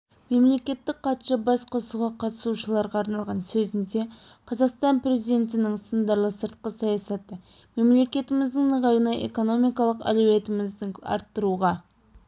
мемлекеттік хатшы басқосуға қатысушыларға арнаған сөзінде қазақстан президентінің сындарлы сыртқы саясаты мемлекеттігіміздің нығаюына экономикалық әлеуетімізді арттыруға